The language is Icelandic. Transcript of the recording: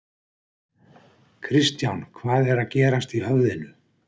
Kristján: Hvað er að gerast í höfðinu?